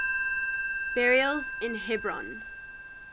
burials in hebron